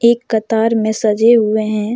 एक कतार में सजे हुए हैं।